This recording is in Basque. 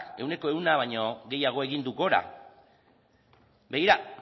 ehuneko ehun baino gehiago egin du gora begira